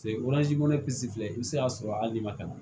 filɛ i bɛ se k'a sɔrɔ hali n'i ma ka na